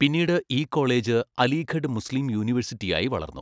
പിന്നീട് ഈ college Aligarh Muslim University ആയി വളർന്നു.